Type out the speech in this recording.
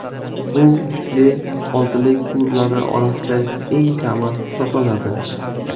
Bu kuchli oltilik klublari orasida eng kami hisoblanadi.